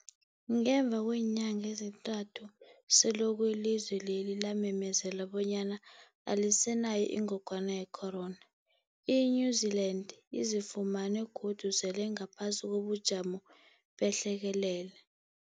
Ngemva kweenyanga ezintathu selokhu ilizwe lela lamemezela bonyana alisenayo ingogwana ye-corona, i-New-Zealand izifumana godu sele ingaphasi kobujamo behlekelele.